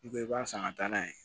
I bɛ i b'a san ka taa n'a ye